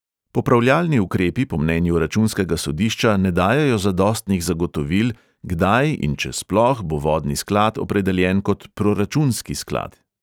Popravljalni ukrepi po mnenju računskega sodišča ne dajejo zadostnih zagotovil, kdaj in če sploh bo vodni sklad opredeljen kot proračunski sklad.